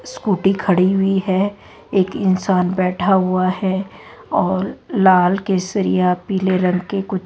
scooty खड़ी हुई है एक इंसान बैठा हुआ है और लाल केसरिया पीले रंग के कुछ--